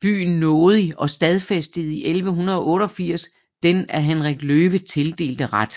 byen nådig og stadfæstede 1188 den af Henrik Løve tildelte ret